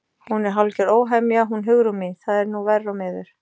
Hún er hálfgerð óhemja hún Hugrún mín, það er nú verr og miður.